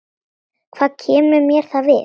Hvað kemur mér það við?